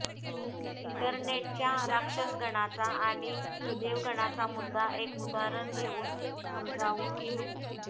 इंटरनेटच्या राक्षसगणाचा आणि देवगणाचा मुद्दा एक उदाहरण घेऊन समजावून घेऊ